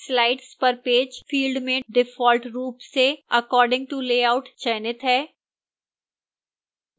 slides per page field में default रूप से according to layout चयनित है